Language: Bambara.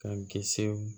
K'an kisi